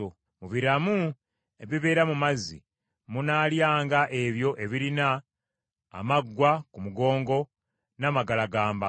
Mu biramu ebibeera mu mazzi, munaalyanga ebyo ebirina amaggwa ku mugongo n’amagalagamba.